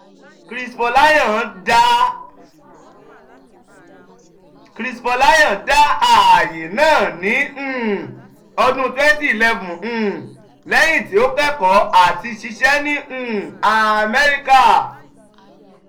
chris folayan da aaye naa ni um ọdun twenty eleven um lẹhin ti o kẹkọọ ati ṣiṣẹ ni um amẹrika.